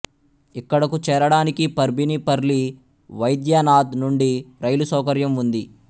ఇక్కడకు చేరడానికి పర్భిణీ పర్లి వైద్యనాధ్ నుండి రైలు సౌకర్యం ఉంది